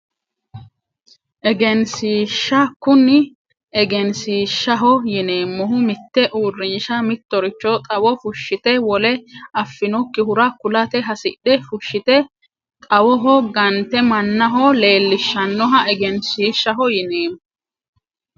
Egenshiishsha kuni egenshiishshaho yineemmohu mitte uurrinsha mittoricho xawo fushshite wole afinokkihura kulate hasidhe fushshite xawoho gante mannaho leellishshannoha egenshiishshaho yineemmo